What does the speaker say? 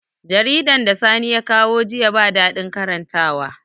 Jaridan da sani ya kawo jiya ba daɗin karantawa